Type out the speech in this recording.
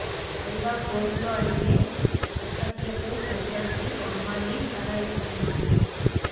పైగా కోర్టులో అడిగే అసహ్యపు ప్రశ్నలకి అమ్మాయి తల ఎత్తలేదు